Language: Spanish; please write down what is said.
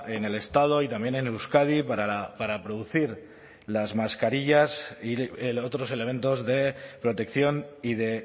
en el estado y también en euskadi para producir las mascarillas y otros elementos de protección y de